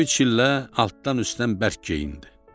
Böyük çillə altdan üstdən bərk geyindi.